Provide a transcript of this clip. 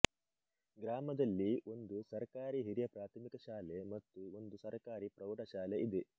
ಗ್ರಾಮದಲ್ಲಿ ಒಂದು ಸರಕಾರಿ ಹಿರಿಯ ಪ್ರಾಥಮಿಕ ಶಾಲೆ ಮತ್ತು ಒಂದು ಸರ್ಕಾರಿ ಪ್ರೌಢ ಶಾಲೆ ಇದೆ